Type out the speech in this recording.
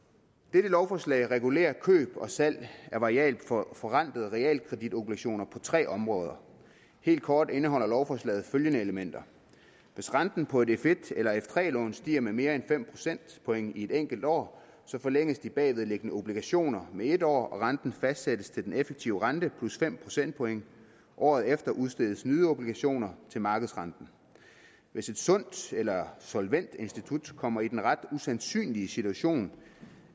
dette lovforslag regulerer køb og salg af variabelt forrentede realkreditobligationer på tre områder helt kort indeholder lovforslaget følgende elementer hvis renten på et f1 eller f3 lån stiger med mere end fem procentpoint i et enkelt år forlænges de bagvedliggende obligationer med en år og renten fastsættes til den effektive rente plus fem procentpoint året efter udstedes nye obligationer til markedsrenten hvis et sundt eller solvent institut kommer i den ret usandsynlige situation